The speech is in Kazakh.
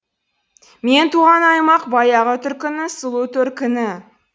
мен туған аймақ баяғы түркінің сұлу төркіні